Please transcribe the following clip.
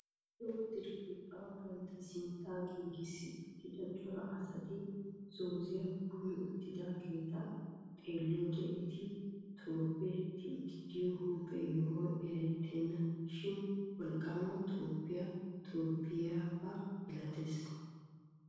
Lo"o diriphphaa bantta sinttan giigissi uttida cora asati zooziyaa kumi uttidaageta xeelliyoode eti tobettidi de'iyoo huuphphe yohoy erettena shin wolqqama tobbiyaa tobettiyaaba milatoosona.